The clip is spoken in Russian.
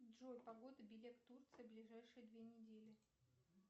джой погода белек турция ближайшие две недели